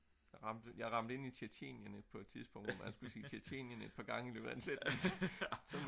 jeg ramte ind i Tjetjenien på et tidspunkt og jeg skulle til Tjetjenien et par gange